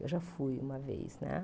Eu já fui uma vez, né?